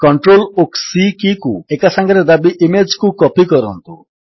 CTRL ଓ C କୀକୁ ଏକାସାଙ୍ଗରେ ଦାବି ଇମେଜ୍ କୁ କପୀ କରନ୍ତୁ